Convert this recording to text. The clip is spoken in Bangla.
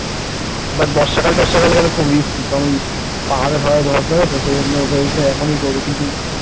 বর্ষাকার-তরসাকাল গেলে খুব রিস্কি কারণ পাহাড়টাহারে ধস নামে তো সেই জন্য ভেবেছিলাম এখনই করব। কিন্তু